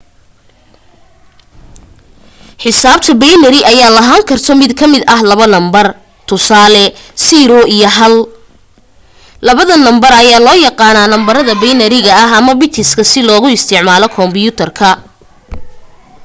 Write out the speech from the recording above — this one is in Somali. xisaabta binary ayaa lahaan karto mid kamida labo nambar tusaale 0 iyo 1 labadaan number ayaa loo yaqaana nambarada binary-ga ama bits si loogu isticmalo komyuutarka